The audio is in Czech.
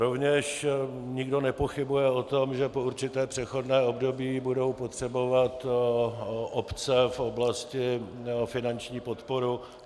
Rovněž nikdo nepochybuje o tom, že po určité přechodné období budou potřebovat obce v oblasti finanční podporu.